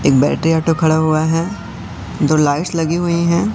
एक battery auto खड़ा हुआ है दो लाइट्स लगी हुई है।